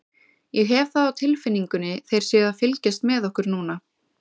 Ég hef það á tilfinningunni þeir séu að fylgjast með okkur núna.